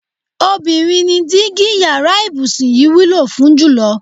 Obìnrin ni dígí yara ìbùsùn yìí wúlò fún jùlo̩.